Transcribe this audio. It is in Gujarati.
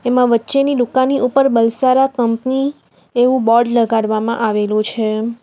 એમાં વચ્ચેની દુકાનની ઉપર બલસારા કંપની એવું બોર્ડ લગાડવામાં આવેલુ છે.